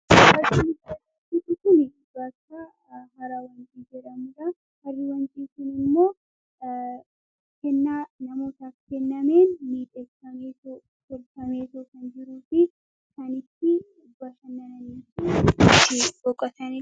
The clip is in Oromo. aicutunif baaca haraawwancii jeramraa harri wancii suun immoo kennaa namoota kennameen miidheesameesoo foltameesoo kan jiruuti kanitti ubbaashannanan